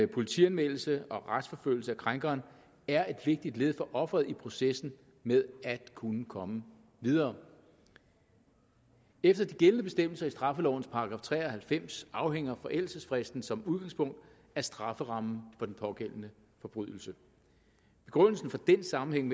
politianmeldelse og retsforfølgelse af krænkeren er et vigtigt led for offeret i processen med at kunne komme videre efter de gældende bestemmelser i straffelovens § tre og halvfems afhænger forældelsesfristen som udgangspunkt af strafferammen for den pågældende forbrydelse begrundelsen for den sammenhæng